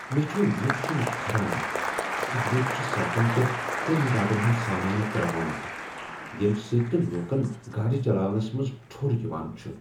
مےٚ چھ یہ وٕچھن کھران ز لوکھ چھ سڑکن پیٹھ تعمیراتن ہنٛد سامانہٕ ترٛاوان ییٚمہ سۭتۍ نہٕ لوکن گاڑِ چلاونس منز ٹھوٚر یوان چھُ۔